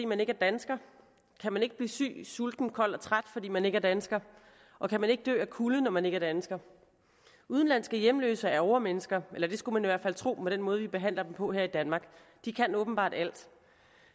man ikke er dansker kan man ikke blive syg sulten kold og træt hvis man ikke er dansker og kan man ikke dø af kulde når man ikke er dansker udenlandske hjemløse er overmennesker eller det skulle man i hvert fald tro med den måde vi behandler dem på her i danmark de kan åbenbart alt